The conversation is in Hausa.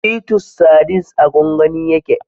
Titus sardines a gwangwani yake